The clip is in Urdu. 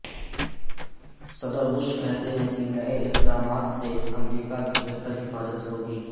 صدر بش کہتے ہیں کہ نئے اقدامات سے امریکہ کی بہتر حفاظت ہوگی